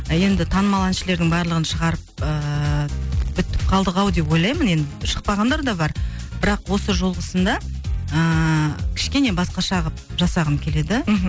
енді танымал әншілердің барлығын шығарып ыыы бітіп қалдық ау деп ойлаймын енді шықпағандар да бар бірақ осы жолғысында ыыы кішкене басқаша қылып жасағым келеді мхм